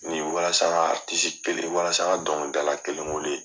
Ni walasa ka walasa ka dɔnkilidala kelen wele.